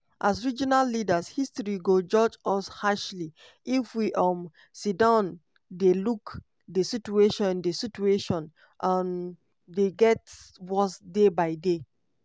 "as regional leaders history go judge us harshly if we um sidon dey look di situation di situation um dey get worse day by day.